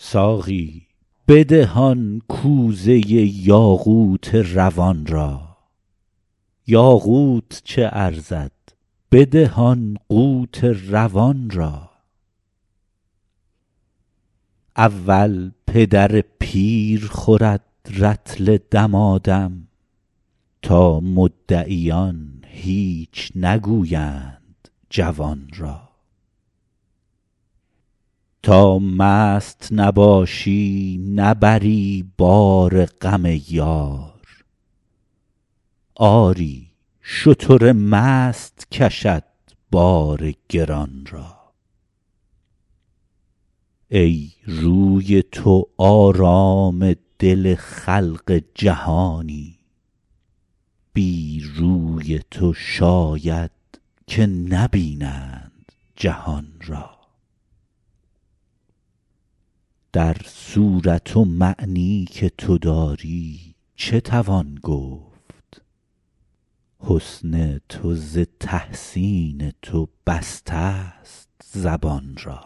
ساقی بده آن کوزه یاقوت روان را یاقوت چه ارزد بده آن قوت روان را اول پدر پیر خورد رطل دمادم تا مدعیان هیچ نگویند جوان را تا مست نباشی نبری بار غم یار آری شتر مست کشد بار گران را ای روی تو آرام دل خلق جهانی بی روی تو شاید که نبینند جهان را در صورت و معنی که تو داری چه توان گفت حسن تو ز تحسین تو بستست زبان را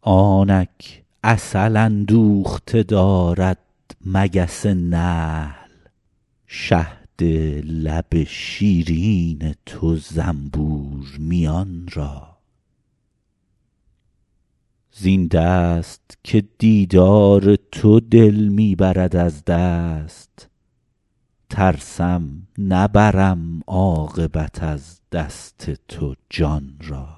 آنک عسل اندوخته دارد مگس نحل شهد لب شیرین تو زنبور میان را زین دست که دیدار تو دل می برد از دست ترسم نبرم عاقبت از دست تو جان را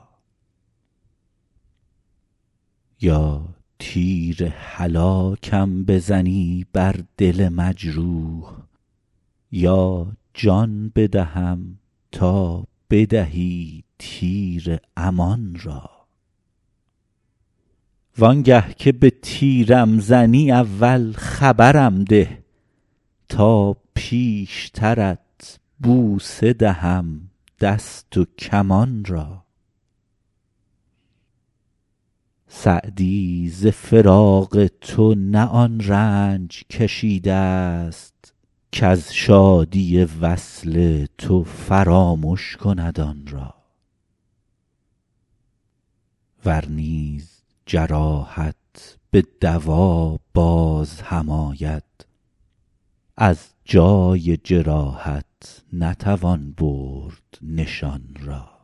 یا تیر هلاکم بزنی بر دل مجروح یا جان بدهم تا بدهی تیر امان را وان گه که به تیرم زنی اول خبرم ده تا پیشترت بوسه دهم دست و کمان را سعدی ز فراق تو نه آن رنج کشیدست کز شادی وصل تو فرامش کند آن را ور نیز جراحت به دوا باز هم آید از جای جراحت نتوان برد نشان را